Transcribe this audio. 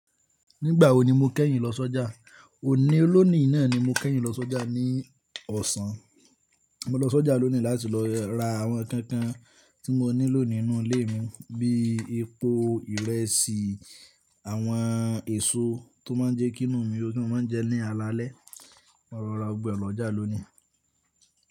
Nígbà wo ni mo kẹ́yìn lọ sọ́jà? Òní lónìí náà ni mo kẹ́yìn lọ sọ́jà ní ọ̀sán. Mo lọ sọ́jà lónìí láti lọ ra àwọn ǹnkan kan tí mo nílò nínú ilé mi bíi epo, ìrẹsì, àwọn èso tó má n jẹ́ kínù ú mi o dun, mọ́ maa ń jẹ ní alalẹ́. Mo lo ra gbọgbọ̀ e lọ́jà lónìí.